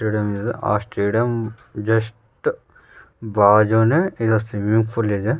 ಇದೆ ಆ ಜಸ್ಟ್ ಬಾಜುನೆ ಇದೆ ಸ್ವಿಮ್ಮಿಂಗ್ ಪೂಲ್ ಇದೆ --